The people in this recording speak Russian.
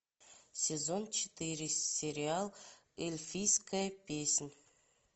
сезон четыре сериал эльфийская песнь